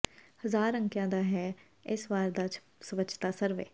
ਹਜ਼ਾਰ ਅੰਕਿਆ ਦਾ ਹੈ ਇਸ ਵਾਰ ਦਾ ਸਵੱਛਤਾ ਸਰਵੇ